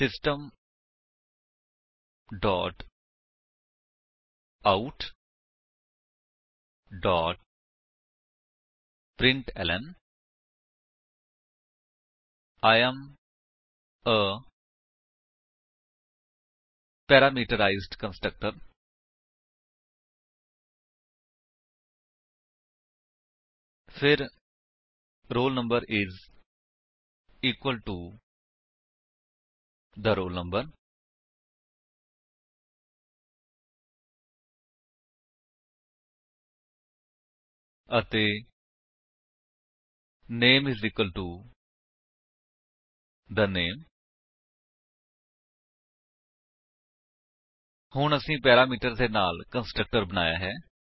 system dot out dot println I am a parameterized constructor ਫਿਰ roll number is equal to the roll number ਅਤੇ name is equal to the name ਹੁਣ ਅਸੀਂ parameters ਦੇ ਨਾਲ constructor ਬਣਾਇਆ ਹੈ